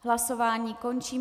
Hlasování končím.